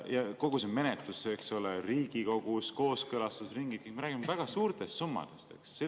Kogu see menetlus Riigikogus, kooskõlastusringid – me räägime väga suurtest summadest.